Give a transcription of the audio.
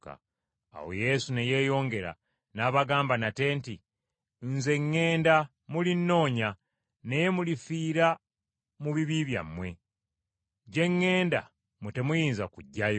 Awo Yesu ne yeeyongera, n’abagamba nate nti, “Nze ŋŋenda, mulinnoonya, naye mulifiira mu bibi byammwe. Gye ŋŋenda mmwe temuyinza kujjayo.”